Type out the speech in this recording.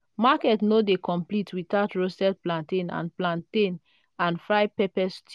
market no dey complete without roasted plantain and plantain and fried pepper stew.